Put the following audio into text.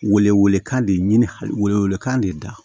Wele wele kan de ɲini hali kan de da